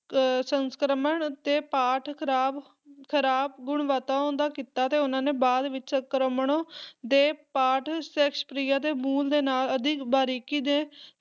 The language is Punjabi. ਅਹ ਸੰਸਕਰਣ ਅਤੇ ਪਾਠ ਖਰਾਬ ਖਰਾਬ ਗੁਣਵਤਾਓਂ ਦਾ ਕੀਤਾ ਤੇ ਉਹਨਾਂ ਨੇ ਬਾਅਦ ਵਿੱਚ ਸੰਸਕਰਣਾਂ ਦੇ ਪਾਠ ਸ਼ੇਕਸਪੀਅਰ ਦੇ ਮੂਲ ਦੇ ਨਾਲ ਅਧਿਕ ਬਾਰੀਕੀ ਦੇ